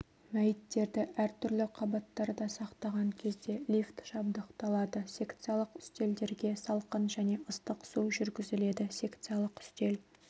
мәйіттерді әртүрлі қабаттарда сақтаған кезде лифт жабдықталады секциялық үстелдерге салқын және ыстық су жүргізіледі секциялық үстел